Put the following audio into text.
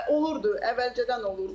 Olurdu, əvvəlcədən olurdu.